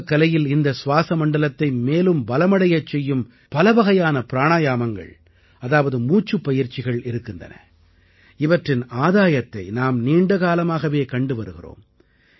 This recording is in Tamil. யோகக் கலையில் இந்த சுவாஸமண்டலத்தை மேலும் பலமடையச் செய்யும் பலவகையான பிராணாயாமங்கள் அதாவது மூச்சுப் பயிற்சிகள் இருக்கின்றன இவற்றின் ஆதாயத்தை நாம் நீண்ட காலமாகவே கண்டு வருகிறோம்